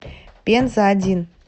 пенза один